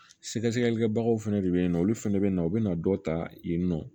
Sɛgɛsɛgɛlikɛbagaw fɛnɛ de be yen nɔ olu fɛnɛ bɛ na u bɛna dɔ ta yen nɔ